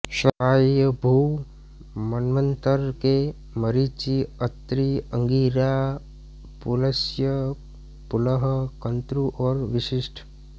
स्वायंभुव मन्वंतर के मरीचि अत्रि अंगिरा पुलस्त्य पुलह क्रतु और वशिष्ठ